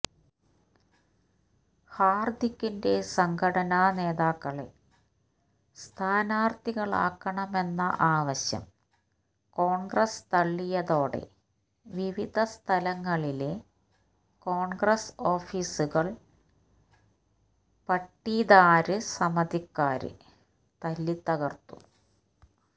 ഹാര്ദിക്കിന്റെ സംഘടനാ നേതാക്കളെ സ്ഥാനാര്ത്ഥികളാക്കണമെന്ന ആവശ്യം കോണ്ഗ്രസ് തള്ളിയതോടെ വിവിധ സ്ഥലങ്ങളിലെ കോണ്ഗ്രസ് ഓഫീസുകള് പട്ടീദാര് സമിതിക്കാര് തല്ലിത്തകര്ത്തു